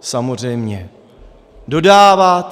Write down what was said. samozřejmě dodávat.